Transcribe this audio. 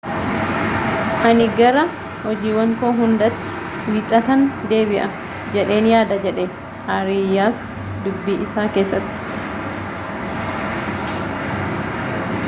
ani gara hojiiwwan koo hundaatti wiixatan deebi'a jedheen yaada jedhe aariyaas dubbii isaa keessatti